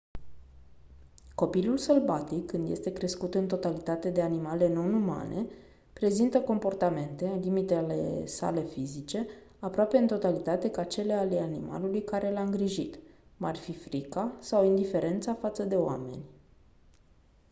copilul sălbatic când este crescut în totalitate de animale non-umane prezintă comportamente în limitele sale fizice aproape în totalitate ca cele ale animalului care l-a îngrijit cum ar fi frica sau indiferența față de oameni